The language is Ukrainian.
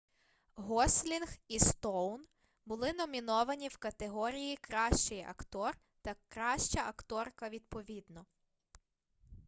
гослінг і стоун були номіновані в категорії кращий актор та краща акторка відповідно